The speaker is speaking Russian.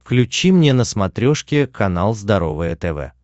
включи мне на смотрешке канал здоровое тв